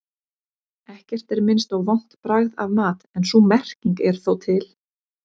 Ekkert er minnst á vont bragð af mat en sú merking er þó til.